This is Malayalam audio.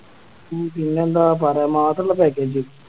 ഉം പിന്നെന്ത പര Mass ഇള്ള Package